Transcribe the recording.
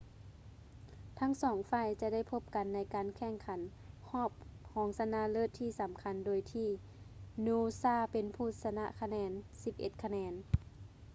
ທັງສອງຝ່າຍຈະໄດ້ພົບກັນໃນການແຂ່ງຂັນຮອບຮອງຊະນະເລີດທີ່ສຳຄັນ ໂດຍທີ່ noosa ເປັນຜູ້ຊະນະດ້ວຍຄະແນນ 11 ຄະແນນ